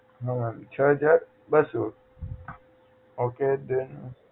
હા મેમ છ હજાર બસો okay then